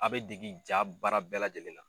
A bɛe degi ja baara bɛɛ lajɛlen la